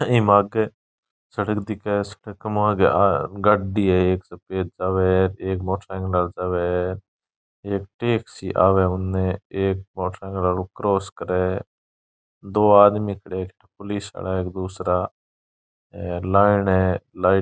ये मागे सड़क दिखे इसपे कमाया आया गड्डी है एक सफेद आवे एक मोटरसाइकिल जावे एक टेक्सी आवे उनने एक मोटरसाइकिल को क्रोस करे दो आदमी खड़ा पुलिस है दूसरा लाइन है लाइट --